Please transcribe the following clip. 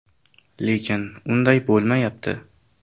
Lekin unday bo‘lmayapti.